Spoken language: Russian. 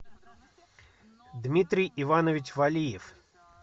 дмитрий иванович валиев